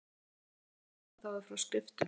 erfiðara var að fá undanþágu frá skriftum